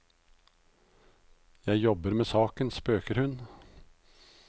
Jeg jobber med saken, spøker hun.